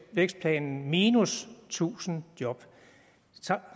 vækstplanen minus tusind job